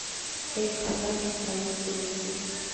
эль хазард странники найти